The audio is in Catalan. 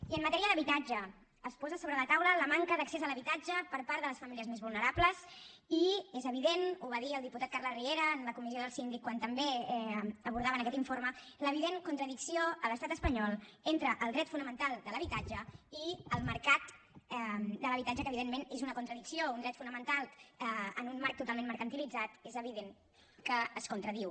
i en matèria d’habitatge es posa sobre la taula la manca d’accés a l’habitatge per part de les famílies més vulnerables i és evident ho va dir el diputat carles riera en la comissió del síndic quan també abordaven aquest informe l’evident contradicció a l’estat espanyol entre el dret fonamental de l’habitatge i el mercat de l’habitatge que evidentment és una contradicció un dret fonamental en un marc totalment mercantilitzat és evident que es contradiu